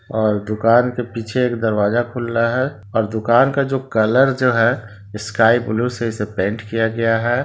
--और दुकान के पीछे दरवाजा खुला है और दुकान का जो कलर जो है स्काई ब्लू से जो पेंट किया गया है।